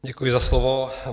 Děkuji za slovo.